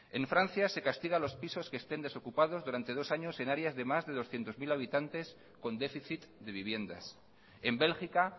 en francia se castiga los pisos que estén desocupados durante dos años en áreas de más de doscientos mil habitantes con déficit de viviendas en bélgica